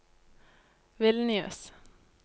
Vilnius